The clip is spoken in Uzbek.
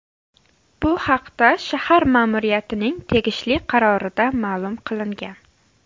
Bu haqda shahar ma’muriyatining tegishli qarorida ma’lum qilingan .